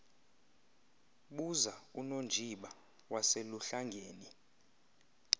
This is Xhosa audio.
buza unonjiba waseluhlangeni